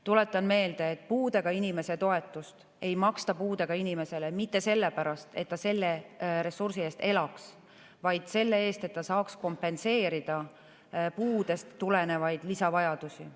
Tuletan meelde, et puudega inimese toetust ei maksta puudega inimesele mitte sellepärast, et ta selle ressursi eest elaks, vaid selle eest, et ta saaks kompenseerida puudest tulenevaid lisavajadusi.